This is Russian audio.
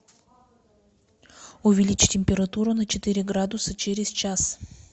увеличь температуру на четыре градуса через час